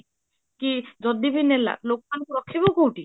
କି ଯଦି ବି ନେଲା, ଲୋକଙ୍କୁ ରଖିବ କୋଉଠି?